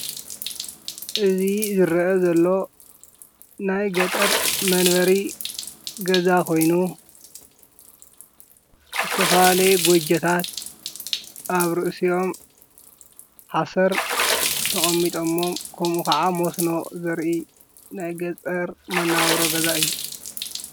እዚ ዝረኣ ዘሎ ናይ ገጠር መንበሪ ገዛ ኮይኑ ዝተፈላለዩ ጎጆታት ኣብ ርእሲኦም ሓሰር ተቐሚጠሞም ከምኡ ካዓ መስኖ ዘርኢ ናይ ገጠር መነባብሮ ገዛ እዩ ።